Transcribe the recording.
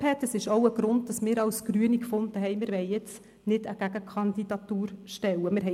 Das ist auch ein Grund, weshalb wir als Grüne gefunden haben, dass wir jetzt keine Gegenkandidatur stellen wollen.